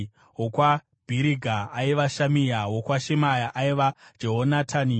wokwaBhiriga aiva Shamia; wokwaShemaya aiva Jehonatani;